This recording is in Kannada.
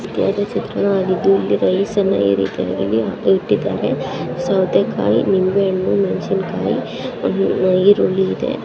ಇಲ್ಲಿ ಯಾವುದೋ ಚಿತ್ರಣವಾಗಿದ್ದು ಇಲ್ಲಿ ರೈಸನ್ನ ಈ ರೀತಿಯಾಗಿ ಇಟ್ಟಿದ್ದಾರೆ ಸೌತೆಕಾಯಿ ನಿಂಬೆಹಣ್ಣು ಮೆಣಸಿನಕಾಯಿ ಆಮೇಲೆ ಈರುಳ್ಳಿ ಇದೆ.